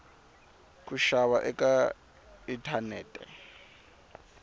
ku xava eka inthanethe